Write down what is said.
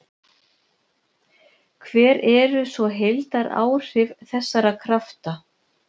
Hver eru svo heildaráhrif þessara krafta?